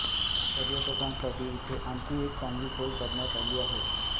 पर्यटकांसाठी इथे आणखी एक चांगली सोय करण्यात आली आहे